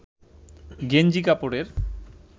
গেঞ্জি কাপড়ের